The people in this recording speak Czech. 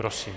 Prosím.